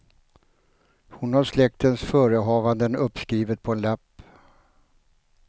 Hon har släktens förehavanden uppskrivet på en lapp.